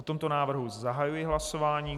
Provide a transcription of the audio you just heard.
O tomto návrhu zahajuji hlasování.